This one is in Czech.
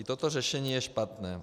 I toto řešení je špatné.